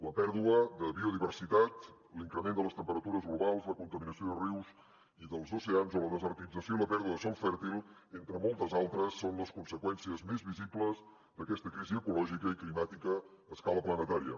la pèrdua de biodiversitat l’increment de les temperatures globals la contaminació de rius i dels oceans o la desertització i la pèrdua de sòl fèrtil entre moltes altres són les conseqüències més visibles d’aquesta crisi ecològica i climàtica a escala planetària